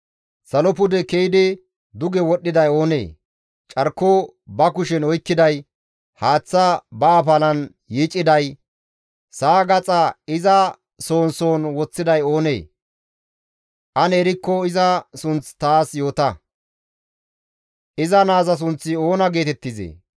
Salo pude ke7idi duge wodhdhiday oonee? Carko ba kushen oykkiday, haath ba afalan yiiciday sa7a gaxa iza soon soon woththiday oonee? Ane erikko iza sunth taas yoota; Iza naaza sunththi oona geetettizee?